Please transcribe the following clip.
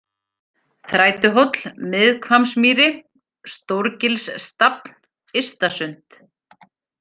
Þrætuhóll, Miðhvammsmýri, Stóragilsstafn, Ystasund